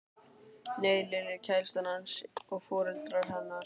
Nei, Lilja kærastan hans og foreldrar hennar.